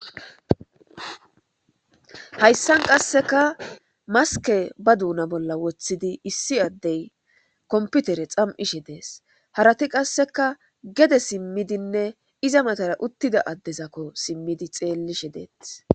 Hayssan qasseka maske ba duuna bolla woththidi issi addey komputere xam7ishe dees harati qasseka gede simmidinne iza matara uttida addezakko simmidi xeellishe deeth